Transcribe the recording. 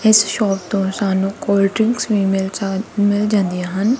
ਇਸ ਸ਼ੌਪ ਤੋ ਸਾਨੂ ਕੋਲਡ ਡਰਿੰਕ ਵੀ ਮੀਲ ਜਾ ਮਿਲ ਜਾਂਦੀਆਂ ਹਨ।